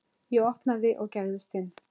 Ég opnaði og gægðist inn.